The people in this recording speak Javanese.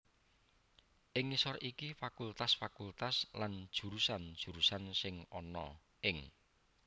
Ing ngisor iki fakultas fakultas lan jurusan jurusan sing ana ing